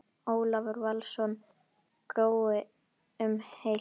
Ólafur Valsson: Grói um heilt?